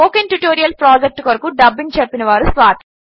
spoken tutorial project కొరకు dubbing చెప్పినవారు స్వాతి